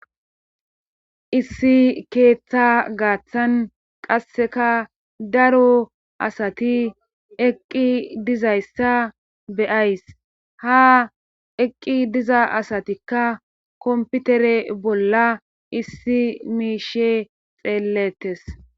Issi keeththa gaaththan qasseka daro asati eqqi dizayssa beyays ha eqqi diza asatikka komputere bolla issi miishe xeellettes.